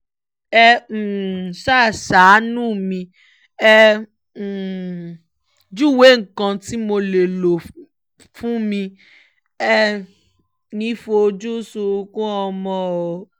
ẹ um ṣáà ṣàánú mi ẹ um júwe nǹkan tí mo lè lò fún mi èé ní fojú sunkún ọmọ o